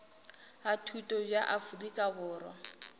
a thuto bja afrika borwa